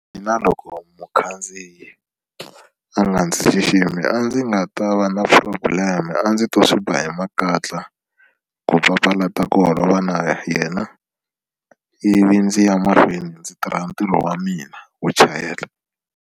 Mina loko mukhandziyi a nga ndzi xiximi a ndzi nga ta va na problem a ndzi to swi ba hi makatla ku papalata ku holova na yena ivi ndzi ya mahlweni ndzi tirha ntirho wa mina wo chayela.